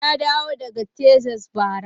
Na dawo daga Texas bara.